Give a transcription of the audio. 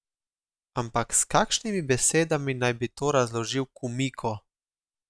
Ampak s kakšnimi besedami naj bi to razložil Kumiko?